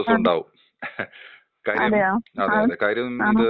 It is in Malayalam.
ആ അതെയോ ആ ആ.